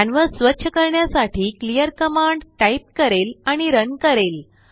canvas स्वच्छ करण्यासाठी clear command type करेल आणि रन करेल